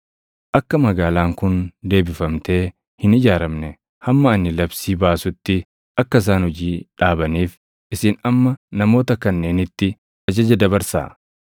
Akka magaalaan kun deebifamtee hin ijaaramne hamma ani labsii baasutti akka isaan hojii dhaabaniif isin amma namoota kanneenitti ajaja dabarsaa.